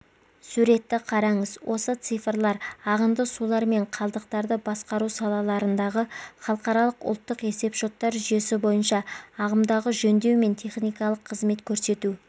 суретті қараңыз осы цифрлар ағынды сулар мен қалдықтарды басқару салаларындағы халықаралық ұлттық есепшоттар жүйесі бойынша ағымдағы жөндеу мен техникалық қызмет көрсету